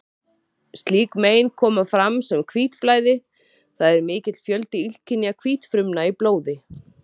Slík mein koma fram sem hvítblæði, það er mikill fjöldi illkynja hvítfrumna í blóði.